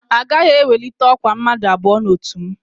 Agaghị ewelite ọkwa mmadụ abụọ n'otu m